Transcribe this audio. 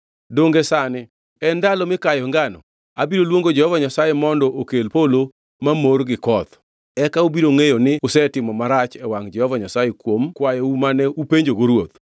Donge sani en ndalo mikayoe ngano? Abiro luongo Jehova Nyasaye mondo okel polo mamor gi koth. Eka ubiro ngʼeyo ni usetimo marach e wangʼ Jehova Nyasaye kuom kwayou mane upenjogo ruoth.”